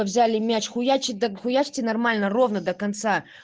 взяли мяч хуяч так хуячте нормально ровно до конца